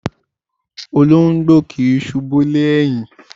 Olóńgbò kì í ṣùbú lé ẹ̀yìn.